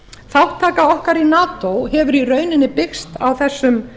þátttaka okkar í nato hefur í rauninni byggst á þessum